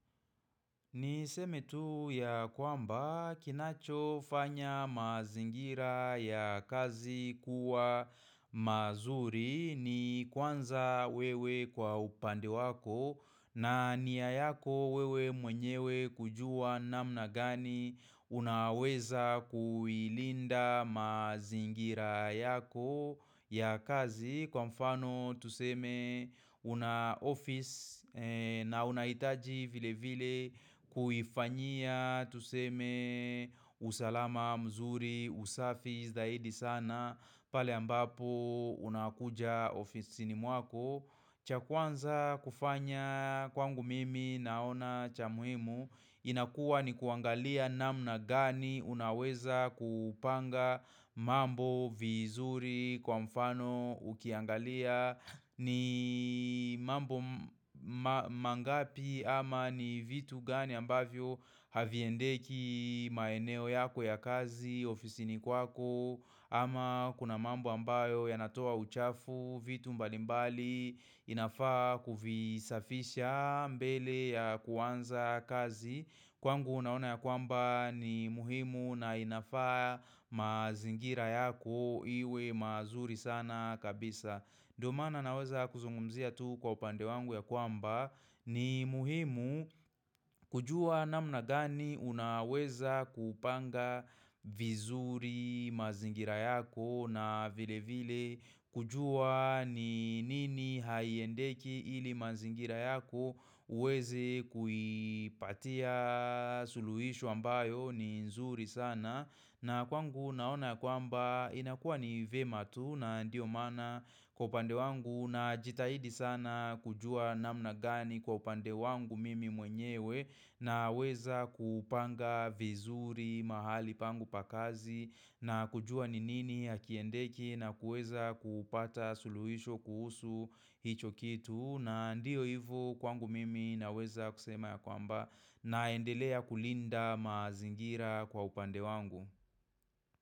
Niseme tu ya kwamba kinachofanya mazingira ya kazi kuwa mazuri ni kwanza wewe kwa upande wako na niya yako wewe mwenyewe kujua namna gani unaweza kuilinda mazingira yako ya kazi. Kwa mfano tuseme una office na unahitaji vile vile kuifanyia tuseme usalama mzuri, usafi zaidi sana pale ambapo unakuja ofisini mwako. Cha kwanza kufanya kwangu mimi naona cha muhimu inakua ni kuangalia namna gani unaweza kupanga mambo vizuri kwa mfano ukiangalia ni mambo mangapi ama ni vitu gani ambavyo haviendeki maeneo yako ya kazi, ofisini kwako ama kuna mambo ambayo yanatoa uchafu vitu mbalimbali inafaa kuvisafisha mbele ya kuanza kazi Kwangu naona ya kwamba ni muhimu na inafaa mazingira yako iwe mazuri sana kabisa Ndiyo maana naweza kuzungumzia tu kwa upande wangu ya kwamba ni muhimu kujua namna gani unaweza kupanga vizuri mazingira yako na vile vile kujua ni nini haiendeki ili mazingira yako uweze kuipatia suluhishu ambayo ni nzuri sana. Na kwangu naona ya kwamba inakuwa ni vema tu na ndio maana kwa upande wangu najitahidi sana kujua namna gani kwa upande wangu mimi mwenyewe naweza kupanga vizuri mahali pangu pa kazi na kujua ni nini hakiendeki na kuweza kupata suluhisho kuhusu hicho kitu. Na ndiyo hivyo kwangu mimi naweza kusema ya kwamba naendelea kulinda mazingira kwa upande wangu.